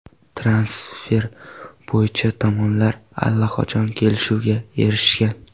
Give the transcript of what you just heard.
Transfer bo‘yicha tomonlar allaqachon kelishuvga erishgan.